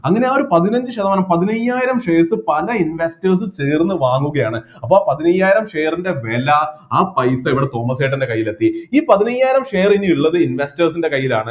അങ്ങനെ ആ ഒരു പതിനഞ്ച് ശതമാനം പതിനയ്യായിരം shares പല investors ഉം ചേർന്ന് വാങ്ങുകയാണ് അപ്പൊ പതിനയ്യായിരം share ൻ്റെ വില ആ പൈസ ഇവിടെ തോമസേട്ടൻറെ കൈയിലെത്തി ഈ പതിനയ്യായിരം share ഇനി ഇള്ളത് investors ൻ്റെ കൈയിലാണ്